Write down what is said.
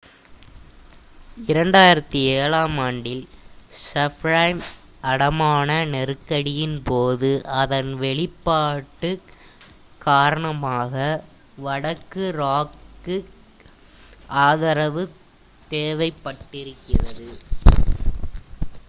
2007 ஆம் ஆண்டில் சப்பிரைம் அடமான நெருக்கடியின் போது அதன் வெளிப்பாடுக் காரணமாக வடக்கு ராக்குக்கு ஆதரவு தேவைப்பட்டிருக்கிறது